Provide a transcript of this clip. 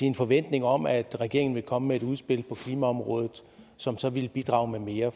en forventning om at regeringen ville komme med et udspil på klimaområdet som så ville bidrage med mere